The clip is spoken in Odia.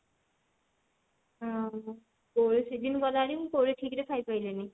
ହୁଁ କୋଳି season ଗଲାଣି କୋଳି ଠିକ ରେ ଖାଇପାରିଲିନି